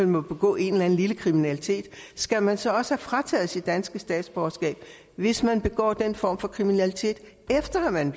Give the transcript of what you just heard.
må begå en eller anden lille kriminalitet skal man så også frataget sit danske statsborgerskab hvis man begår den form for kriminalitet efter at man